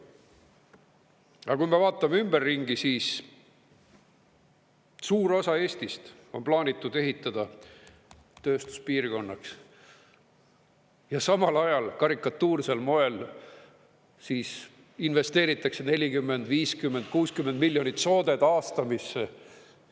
Aga kui me vaatame ümberringi, siis suur osa Eestist on plaanitud ehitada tööstuspiirkonnaks ja samal ajal karikatuursel moel investeeritakse 40, 50, 60 miljonit soode taastamisse.